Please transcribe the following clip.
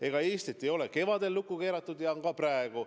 Ega Eestit ei keeratud kevadel lukku ja seda pole ka praegu.